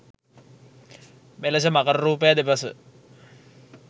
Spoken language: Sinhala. මෙලෙස මකර රූපය දෙපස